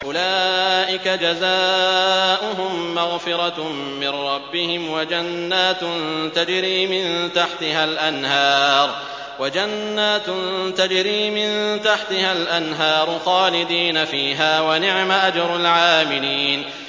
أُولَٰئِكَ جَزَاؤُهُم مَّغْفِرَةٌ مِّن رَّبِّهِمْ وَجَنَّاتٌ تَجْرِي مِن تَحْتِهَا الْأَنْهَارُ خَالِدِينَ فِيهَا ۚ وَنِعْمَ أَجْرُ الْعَامِلِينَ